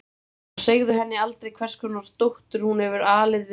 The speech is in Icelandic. Og segðu henni aldrei hvers konar dóttur hún hefur alið við brjóst sér.